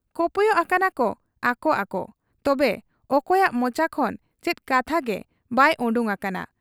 ᱠᱚᱯᱚᱭᱚᱜ ᱟᱠᱟᱱᱟᱠᱚ ᱟᱠᱚ ᱟᱠᱚ ᱾ ᱛᱚᱵᱮ ᱚᱠᱚᱭᱟᱜ ᱢᱚᱪᱟ ᱠᱷᱚᱱ ᱪᱮᱫ ᱠᱟᱛᱷᱟᱜᱮ ᱵᱟᱭ ᱚᱰᱚᱠ ᱟᱠᱟᱱᱟ ᱾